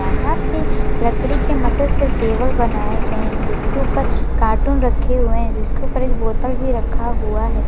यहां पे लकड़ी के मदद से टेबल बनाये गये है जिसके ऊपर कार्टून रखें हुये है जिसके उपर एक बोतल भी रखा हुआ है।